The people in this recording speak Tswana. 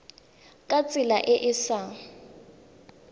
ka tsela e e sa